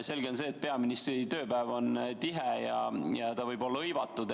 Selge on see, et peaministri tööpäev on tihe ja ta võib olla hõivatud.